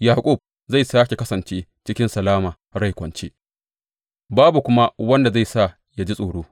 Yaƙub zai sāke kasance cikin salama, rai kwance, babu kuma wanda zai sa ya ji tsoro.